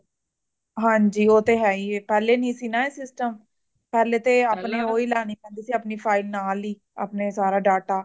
ਹਾਂਜੀ ਉਹ ਤਾ ਹੇਹੀ ਏ ਪਹਿਲਾਂ ਨਹੀਂ ਸੀ ਇਹ system ਪਹਿਲੇ ਤਾ ਆਪਣਾ ਓਹੀ ਲੇਨੇ ਪੈਂਦੇ ਸੀ ਆਪਣੀ file ਨਾਲ ਹੀ ਅਪਣਾ data